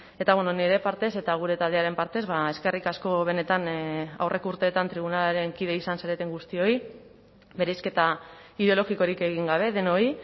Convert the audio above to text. eta nire partez eta gure taldearen partez eskerrik asko benetan aurreko urteetan tribunalaren kide izan zareten guztioi bereizketa ideologikorik egin gabe denoi